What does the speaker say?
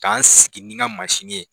K'an sigi ni n ka mansinni ye